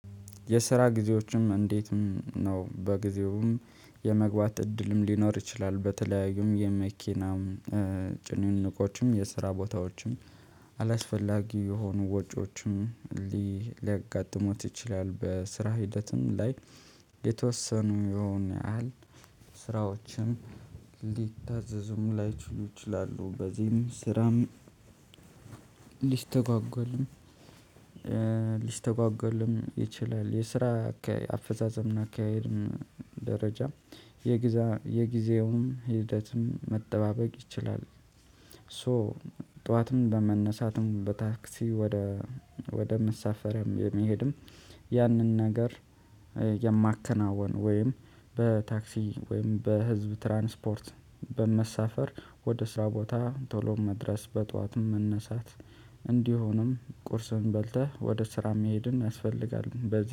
የስራ ጊዜዎትን እንዴት ነው? በጊዜውም የመግባት እድልም ሊኖር ይችላል በተለያዩም የመኪናም ጭንቅንቆችም የስራ ቦታዎችም አላስፈላጊ የሆኑ ወጪዎችም ሊያጋጥሞት ይችላል በስራ ሂደትም ላይ የተወሰኑ የሆኑ ያህል ስራዎችን ሊታዘዙም ላይችሉ ይችላሉ። በዚህም ስራም ሊስተጓጎልም ሊስተጓጓልም ይችላል። የስራ አፈጻጸምና አካሄድም ደረጃ የጊዜውም ሂደትም መጠባበቅ ይችላል። ሶ ጠዋትም በመነሳትም በታክሲ ወደ ወደ መሳፈሪያም የሚሄድም ያንን ነገር የማከናውን ወይም በታክሲ ወይም በህዝብ ትራንስፖርት በመሳፈር ወደ ስራ ቦታ ቶሎ መድረስ በጠዋት መነሳት። እንዲሁም ቁርስህን በልተህ ወደ ስራ መሄድም ያስፈልጋል። በዚህ